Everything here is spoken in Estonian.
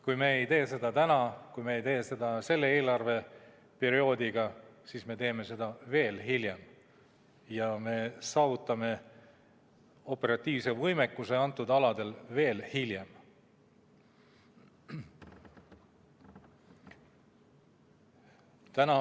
Kui me ei tee seda täna, kui me ei tee seda sellel eelarveperioodil, siis me teeme seda veel hiljem ja me saavutame operatiivse võimekuse neil aladel veel hiljem.